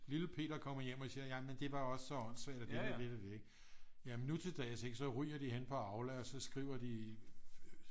Lille Peter kommer hjem og siger jamen det var også så åndssvagt jamen nutildags så ryger de hen på Aula og så skriver de